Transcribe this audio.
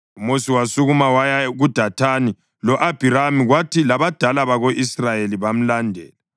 UMosi wasukuma waya kuDathani lo-Abhiramu, kwathi labadala bako-Israyeli bamlandela.